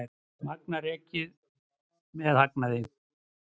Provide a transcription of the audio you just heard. Magma rekið með hagnaði